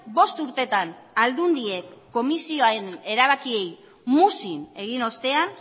bost urteetan aldundiek komisioaren erabakiei muzin egin ostean